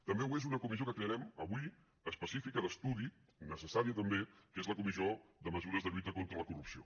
també ho és una comissió que crearem avui específica d’estudi necessària també que és la comissió de mesures de lluita contra la corrupció